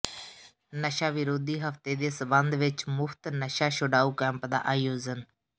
ਨਸ਼ਾ ਵਿਰੋਧੀ ਹਫ਼ਤੇ ਦੇ ਸਬੰਧ ਵਿੱਚ ਮੁਫ਼ਤ ਨਸ਼ਾ ਛੁਡਾਓ ਕੈਂਪ ਦਾ ਆਯੋਜਨ